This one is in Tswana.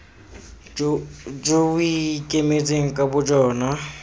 jo bo ikemetseng ka bojona